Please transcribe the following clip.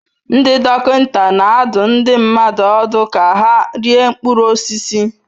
Ndị dọkịta na-adụ ndị mmadụ ọdụ ka ha rie mkpụrụ osisi.